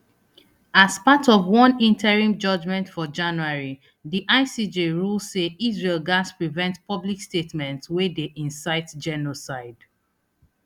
as part of one interim judgement for january di icj rule say israel gatz prevent public statements wey dey incite genocide